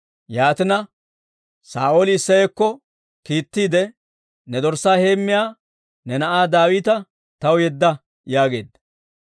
Yaatina, Saa'ooli Isseyakko kiittiide, «Ne dorssaa heemmiyaa ne na'aa Daawita taw yedda» yaageedda.